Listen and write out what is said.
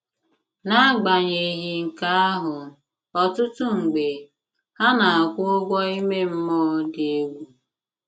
N'agbanyeghị nke ahụ, ọtụtụ mgbe, ha na-akwụ ụgwọ ime mmụọ dị egwu.